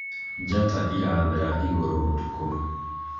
njata irathera igũrũ ũtukũ